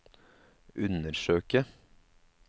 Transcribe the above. undersøke